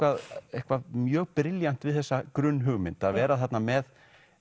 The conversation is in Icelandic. eitthvað mjög brilljant við þessa grunnhugmynd að vera þarna með